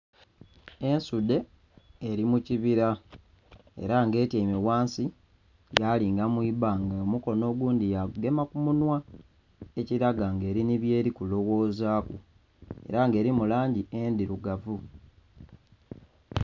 Ensudhe eli mu kibila ela nga etyaime ghansi yalinga mu ibanga omukono ogundhi yagugema ku munhwa, ekilaga nga eli nhi byeli kulowoozaku. Ela nga elimu langi endhilugavu.